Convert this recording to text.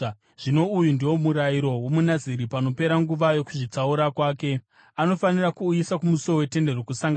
“ ‘Zvino uyu ndiwo murayiro womuNaziri panopera nguva yokuzvitsaura kwake. Anofanira kuuyiswa kumusuo weTende Rokusangana.